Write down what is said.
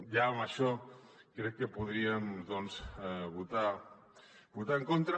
ja amb això crec que podríem votar hi en contra